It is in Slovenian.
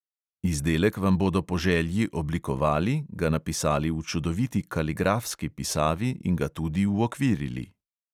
Izdelek vam bodo po želji oblikovali, ga napisali v čudoviti kaligrafski pisavi in ga tudi uokvirili.